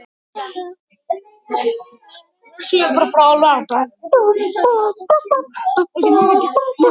Þetta er allt skýrt núna.